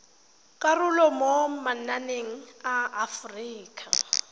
karolo mo mananeng a aforika